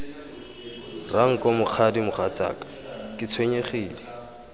ranko mokgadi mogatsaka ke tshwenyegile